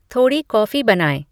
थोड़ी कॉफ़ी बनाएं